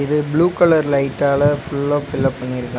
இது blue colour லைட்டால ஃபுல்லா ஃபில் அப் பண்ணியிருக்கா--